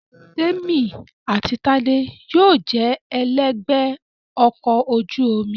Témì àti Tádé yóò jẹ ẹlẹ́gbẹ̀ẹ́ ọkọ̀ ojú omi